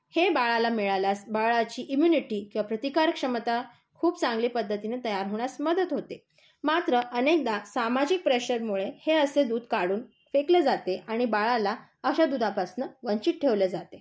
हे बाळाला मिळाल्यास बाळाची इम्युनिटी किंवा प्रतिकारक्षमता खूप चांगल्या पध्दतीने तयार होण्यास मदत होते. मात्र अनेकदा सामाजिक प्रेशरमुळे हे असे दूध काढून फेकले जाते आणि बाळाला अशा दुधापासून वंचित ठेवले जाते.